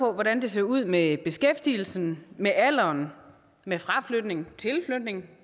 hvordan det ser ud med beskæftigelsen med alderen med fraflytning tilflytning